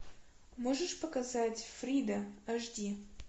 можешь показать фрида аш ди